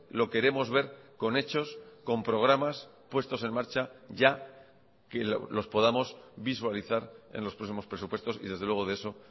lo queremos ver con hechos con programas puestos en marcha ya que los podamos visualizar en los próximos presupuestos y desde luego de eso